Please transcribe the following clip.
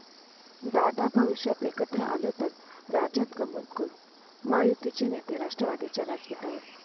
...दादा भविष्यात एकत्र आलो तर राज्यात गंमत करू, महायुतीचे नेते राष्ट्रवादीच्या व्यासपीठावर